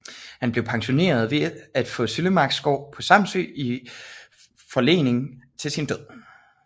Han blev pensioneret ved at få Søllemarksgård på Samsø i forlening til sin død